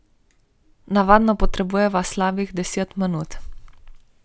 Navadno potrebujeva slabih deset minut.